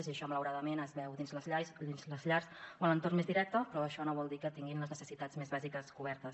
i això malauradament es veu dins les llars o a l’entorn més directe però això no vol dir que tinguin les necessitats més bàsiques cobertes